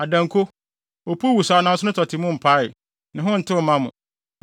Adanko, efisɛ opuw wosaw nanso ne tɔte mu mpae; ne ho ntew mma mo.